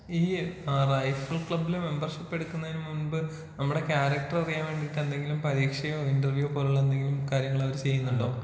ഈ റൈഫിൾ ക്ലബ്ബിൽ മെമ്പർഷിപ്പ് എടുക്കുന്നതിന് മുമ്പ് നമ്മടെ കാരക്റ്റർ അറിയാൻ വേണ്ടീട്ട് എന്തെങ്കിലും പരീക്ഷയോ ഇന്റർവ്യൂ പോലെയുള്ള എന്തെങ്കിലും കാര്യങ്ങൾ അവര് ചെയ്യുന്നുണ്ടോ?